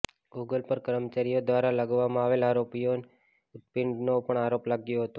Google પર કર્મચારીઓ દ્રારા લગાવવામાં આવેલા આરોપોમાં યૌન ઉત્પીડનનો પણ આરોપ લાગ્યો હતો